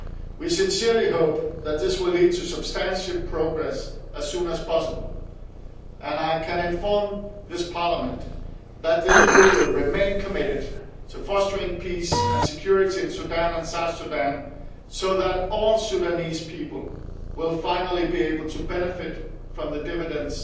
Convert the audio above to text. We sincerely hope that this will lead to substantial progress as soon as possible, and I can inform this House that the EU will remain committed to fostering peace and security in Sudan and South Sudan so that all Sudanese people will finally be able to benefit from the dividends